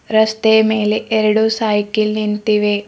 ರಸ್ತೆ ಮೇಲೆ ಎರಡು ಸೈಕಲ್ ನಿಂತಿವೆ.